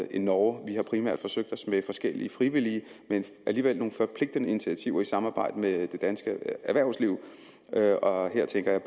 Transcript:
end norge vi har primært forsøgt os med forskellige frivillige men alligevel nogle forpligtende initiativer i samarbejde med det danske erhvervsliv og her tænker jeg